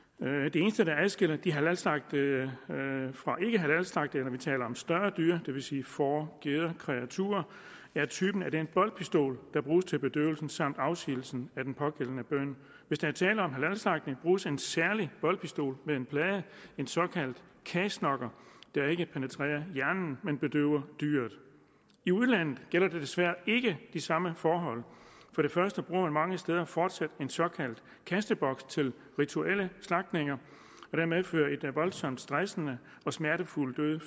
det eneste der adskiller de halalslagtede fra ikkehalalslagtede når vi taler om større dyr det vil sige får geder og kreaturer er typen af den boltpistol der bruges til bedøvelsen samt afsigelsen af den pågældende bøn hvis der er tale om halalslagtning bruges en særlig boltpistol med en plade en såkaldt cashknocker der ikke penetrerer hjernen men bedøver dyret i udlandet gælder desværre ikke de samme forhold for det første bruger man mange steder fortsat en såkaldt kasteboks til rituelle slagtninger og den medfører en voldsomt stressende og smertefuld død